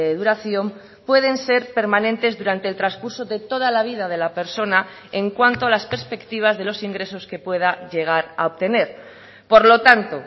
duración pueden ser permanentes durante el transcurso de toda la vida de la persona en cuanto a las perspectivas de los ingresos que pueda llegar a obtener por lo tanto